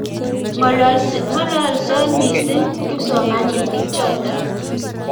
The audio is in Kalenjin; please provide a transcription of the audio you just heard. ng'ololsot mising kipsomaninik choto